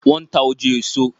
Wọn n ta òjé èso